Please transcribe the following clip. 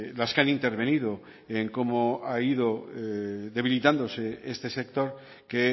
las que han intervenido en cómo ha ido debilitándose este sector que